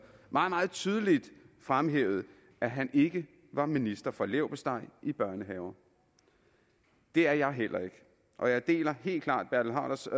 meget meget tydeligt fremhævede at han ikke var minister for leverpostej i børnehaver det er jeg heller ikke og jeg deler helt klart bertel haarders